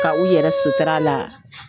Ka u yɛrɛ sutura la?